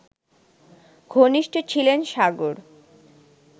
ঘনিষ্ঠ ছিলেন সাগর